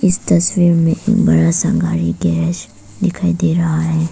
इस तस्वीर में एक बड़ा सा घर एक गैस दिखाई रहा है।